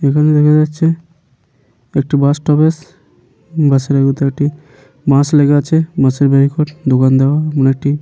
এখানে দেখা যাচ্ছে একটি বাস স্টপেজ । বাসের আগুতে একটি বাঁশ লেগে আছে। বাঁশের ব্যারিকেট দোকান দেওয়া এমন একটি।